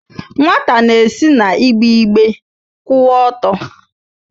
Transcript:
Nwata na-esi n'igbe igbe kwụwa ọtọ.